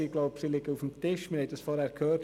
Wir haben sie vorhin schon gehört.